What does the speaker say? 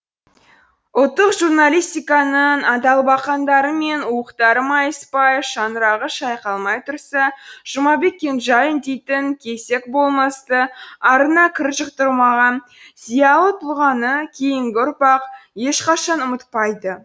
ұлттық журналистиканың адалбақандары мен уықтары майыспай шаңырағы шайқалмай тұрса жұмабек кенжалин дейтін кесек болмысты арына кір жұқтырмаған зиялы тұлғаны кейінгі ұрпақ ешқашан ұмытпайды